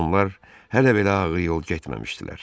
Onlar hələ belə ağır yol getməmişdilər.